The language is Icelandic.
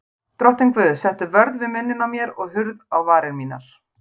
Drottinn Guð, settu vörð við munninn á mér og hurð á varir mínar.